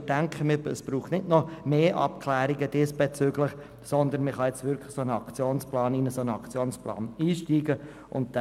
Es braucht nicht noch weitere Abklärungen, man kann vielmehr in einen Aktionsplan einsteigen.